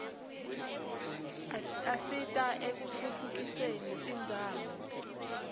adita ekutfutfukderi irdzawo